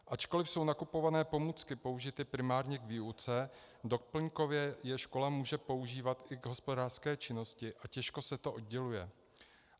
Ačkoliv jsou nakupované pomůcky použity primárně k výuce, doplňkově je škola může používat i k hospodářské činnosti a těžko se to odděluje.